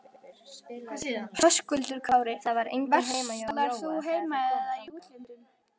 Höskuldur Kári: Verslar þú hér heima eða í útlöndum?